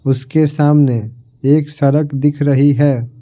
उसके सामने एक सड़क दिख रही है।